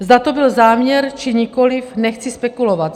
Zda to byl záměr, či nikoli, nechci spekulovat.